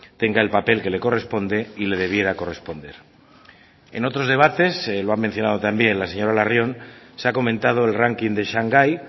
tenga el papel que le corresponde y le debiera corresponder en otros debates lo ha mencionado también la señora larrion se ha comentado el ranking de shanghái